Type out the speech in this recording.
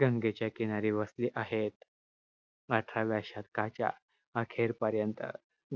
गंगेच्या किनारी वसले आहेत. अठराव्या शतकाच्या अखेरपर्यंत